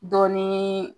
Dɔ ni